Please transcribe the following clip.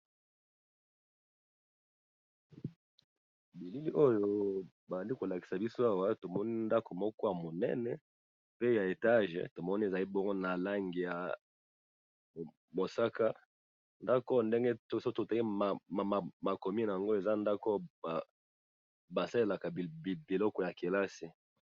bilili oyo bazali kolakisa biswawa tomoni ndako moko ya monene pe ya etage tomoni ezali bono na langi ya mosaka ndako ndenge toso totali makomi na yango eza ndako basalelaka ibiloko ya kelasi